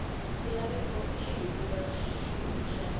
xilaveko xihi kumbe xihi xa